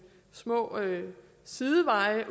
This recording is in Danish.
små sideveje